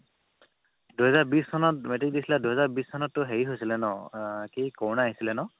দুহেজাৰ বিশ চনত metric দিছিলা দুহেজাৰ বিশ চনতটো হেৰি হৈছিলে ন আহ কি ক'ৰণা আহিছিলে ন